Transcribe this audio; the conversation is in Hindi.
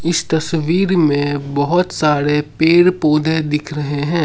इस तस्वीर में बहुत सारे पेड़ पौधे दिख रहे हैं।